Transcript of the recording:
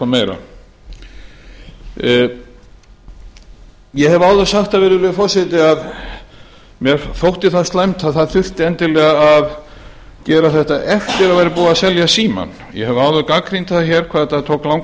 eða eitthvað meira ég hef áður sagt það virðulegi forseti að mér þótti það slæmt að það þurfti endilega að gera þetta eftir að búið var að selja símann ég hef áður gagnrýnt það hér hvað þetta tók langan